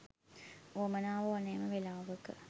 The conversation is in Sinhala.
උවමනා ඕනෑම වෙලාවක